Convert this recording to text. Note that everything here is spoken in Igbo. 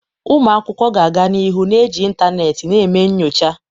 Ụmụ akwụkwọ ga-aga n'ihu na-eji ịntanetị na eme nyocha.